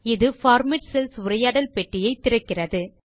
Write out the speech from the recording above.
இது format cells உரையாடல் பெட்டியை திறக்கிறது